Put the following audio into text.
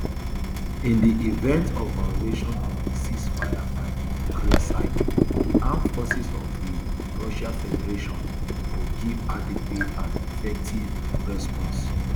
in di event of violations of di ceasefire by di ukraine side di armed forces of di russia federation go give adequate and effective response